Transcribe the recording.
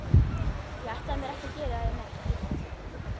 Ég ætlaði mér ekki að gera þér neitt illt.